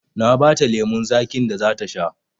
Na ba ta lemon zaƙin da za ta sha